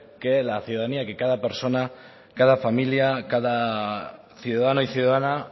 que la ciudadanía que cada persona cada familia cada ciudadano y ciudadana